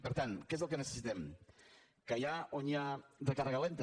per tant què és el que necessitem que allà on hi ha recàrrega lenta